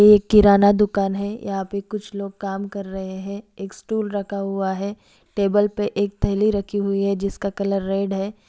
ये एक किराना दुकान हे यहां पे कुछ लोग काम कर रहे हे एक स्टूल रखा हुआ हे टेबल पे एक थेली रखी हुई हे जिसका कलर रेड हे ।